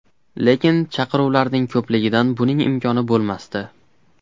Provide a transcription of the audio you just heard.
Lekin chaqiruvlarning ko‘pligidan buning imkoni bo‘lmasdi.